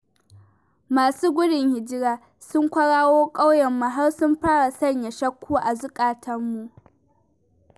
Masu gudun hijira sun kwararo ƙauyenmu, har sun fara sanya shakku a zuƙatanmu.